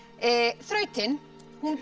þrautin gekk